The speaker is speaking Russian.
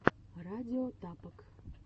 радио тапок